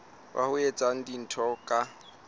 wa ho etsa dintho ka